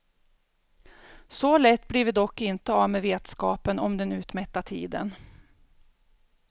Så lätt blir vi dock inte av med vetskapen om den utmätta tiden.